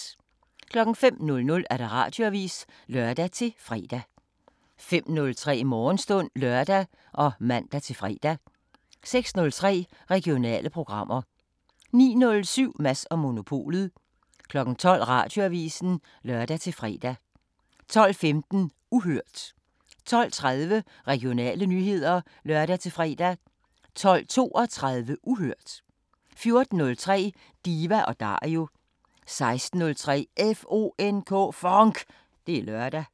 05:00: Radioavisen (lør-fre) 05:03: Morgenstund (lør og man-fre) 06:03: Regionale programmer 09:07: Mads & Monopolet 12:00: Radioavisen (lør-fre) 12:15: Uhørt 12:30: Regionale nyheder (lør-fre) 12:32: Uhørt 14:03: Diva & Dario 16:03: FONK! Det er lørdag